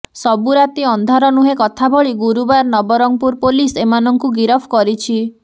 ସବୁ ରାତି ଅନ୍ଧାର ନୁହେଁ କଥା ଭଳି ଗୁରୁବାର ନବରଙ୍ଗପୁର ପୋଲିସ୍ ଏମାନଙ୍କୁ ଗିରଫ କରିଛି